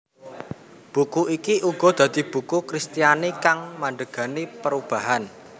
Buku iki uga dadi buku Kristiani kang mandhegani perubahan